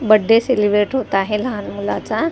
birthday celebrate होत आहे लहान मुलाचा ती--